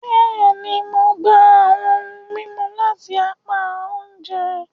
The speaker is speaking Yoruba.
Bẹẹni, Mo gbà ohùn mímú lati apá oúnjẹ